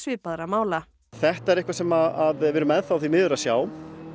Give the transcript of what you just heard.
svipaðra mála þetta er eitthvað sem við erum enn þá því miður að sjá